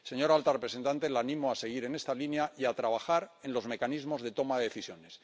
Señora alta representante, la animo a seguir en esta línea y a trabajar en los mecanismos de toma de decisiones.